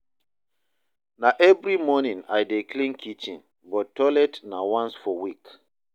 Na every evening I dey clean kitchen, but toilet na once for week.